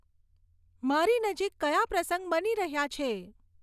મારી નજીક કયા પ્રસંગ બની રહ્યાં છે